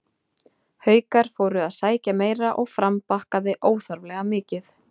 Haukar fóru að sækja meira og Fram bakkaði óþarflega mikið.